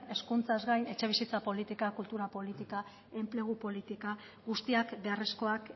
hezkuntzaz gain etxebizitza politika kultura politika enplegu politika guztiak beharrezkoak